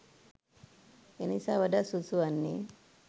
එනිසා වඩාත් සුදුසු වන්නේ